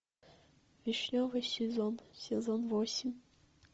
вишневый сезон сезон восемь